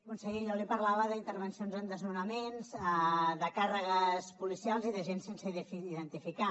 conseller jo li parlava d’intervencions en desnonaments de càrregues policials i d’agents sense identificar